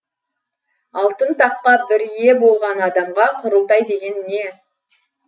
алтын таққа бір ие болған адамға құрылтай деген не